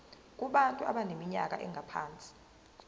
kubantu abaneminyaka engaphansi